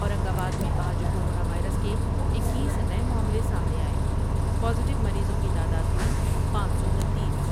اورنگ آباد میں آج کورونا وائرس کے اکیس نئے معاملے سامنے آۓ پازیٹیومریضوں کی تعداد ہوئی پانچ سو انیس ۔